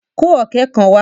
Kó ọ̀ké kan wá!